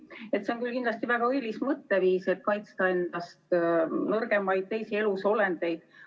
See on küll kindlasti väga õilis mõtteviis, et tuleb kaitsta endast nõrgemaid, teisi elusolendeid.